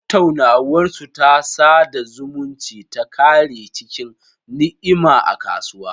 Tattaunawarsu ta sada zumunci ta kare cikin ni'ima a kasuwa.